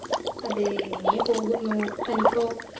അതെ ഇങ്ങനെ പോകുന്നു തനിക്കോ